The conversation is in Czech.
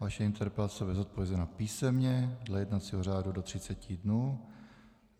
Vaše interpelace bude zodpovězena písemně dle jednacího řádu do třiceti dnů.